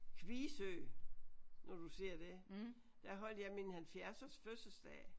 Kvie Sø når du siger det der holdt jeg min halvfjerdsårs fødselsdag